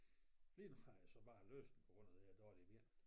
Lige nu har jeg så bare læsning på grund af det her dårlige ben